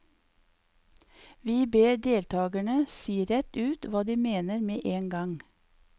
Vi ber deltagerne si rett ut hva de mener med én gang.